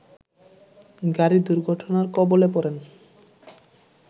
গাড়ি দুর্ঘটনার কবলে পড়েন